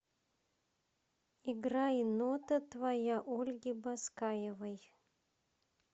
играй нота твоя ольги баскаевой